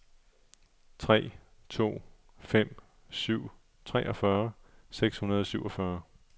tre to fem syv treogfyrre seks hundrede og syvogfyrre